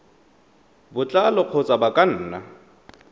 botlalo kgotsa ba ka nna